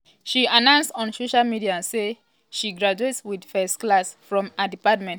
she announce on social media say she graduate wit first class from her department.